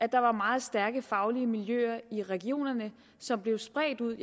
der var meget stærke faglige miljøer i regionerne som blev spredt ud